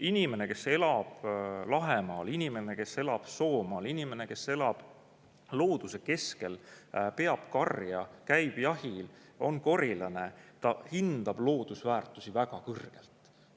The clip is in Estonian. Inimene, kes elab Lahemaal, inimene, kes elab Soomaal, inimene, kes elab looduse keskel, peab karja, käib jahil, on korilane – ta hindab loodusväärtusi väga kõrgelt.